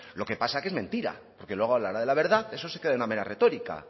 lo que pasa es que es mentira porque luego a la hora de la verdad eso se queda en una mera retórica